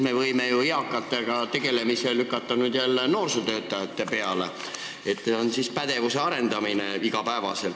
Me võime siis ju eakatega tegelemise jälle noorsootöötajate peale lükata – see oleks igapäevane pädevuse arendamine.